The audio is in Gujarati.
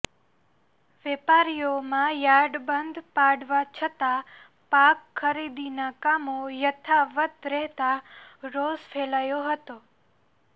વેપારીઓમાં યાર્ડે બંધ પાડવા છતા પાક ખરીદીનાં કામો યથાવત રહેતા રોષ ફેલાયો હતો